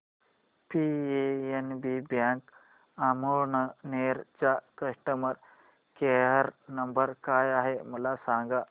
PNB bank Amalner चा customer care number काय आहे मला सांगा